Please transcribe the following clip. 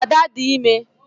Ada dị ime